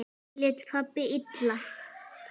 Lét pabbi illa?